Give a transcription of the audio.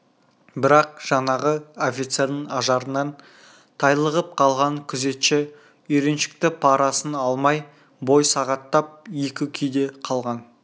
бірақ жаңағы офицердің ажарынан тайлығып қалған күзетші үйреншікті парасын алмай бой сағаттап екі күйде қалған